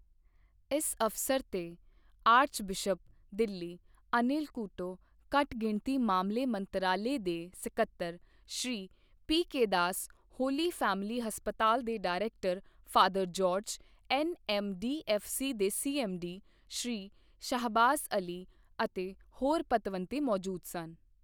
ਇਸ ਅਵਸਰ ਤੇ ਆਰਕਬਿਸ਼ਪ, ਦਿੱਲੀ, ਅਨਿਲ ਕੂਟੋ ਘੱਟਗਿਣਤੀ ਮਾਮਲੇ ਮੰਤਰਾਲੇ ਦੇ ਸਕੱਤਰ Shri P. K. Das, Holy Family ਹਸਪਤਾਲ ਦੇ ਡਾਇਰੈਕਟਰ ਫਾਦਰ ਜਾਰਜ, ਐੱਨਐੱਮਡੀਐੱਫਸੀ ਦੇ ਸੀਐੱਮਡੀ ਸ਼੍ਰੀ ਸ਼ਾਹਬਾਜ਼ ਅਲੀ ਅਤੇ ਹੋਰ ਪਤਵੰਤੇ ਮੌਜੂਦ ਸਨ।